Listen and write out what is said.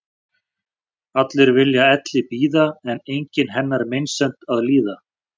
Allir vilja elli bíða en enginn hennar meinsemd að líða.